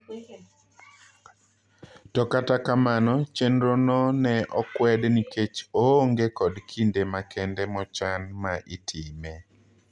To kata kamano chendro no ne okwed nikech oonge kod kinde makende mochan ma itiime.